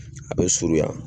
A be surun yan